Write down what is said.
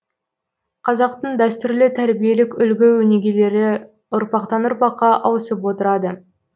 қазақтың дәстүрлі тәрбиелік үлгі өнегелері ұрпақтан ұрпаққа ауысып отырады